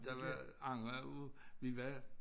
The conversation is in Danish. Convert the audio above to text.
De var andre ude vi var